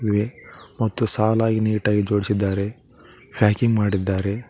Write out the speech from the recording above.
ಮತ್ತು ಸಾಲಾಗಿ ನೀಟಾಗಿ ಜೋಡಿಸಿದ್ದಾರೆ ಪ್ಯಾಕಿಂಗ್ ಮಾಡಿದ್ದಾರೆ.